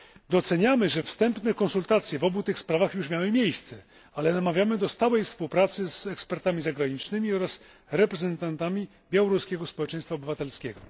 Doceniamy, że wstępne konsultacje w obu tych sprawach już miały miejsce, ale namawiamy do stałej współpracy z ekspertami zagranicznymi oraz reprezentantami białoruskiego społeczeństwa obywatelskiego.